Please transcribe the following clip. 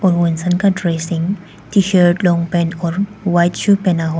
ओ इंसान का dressing T shirt long pant और वाइट शू पहना हुआ।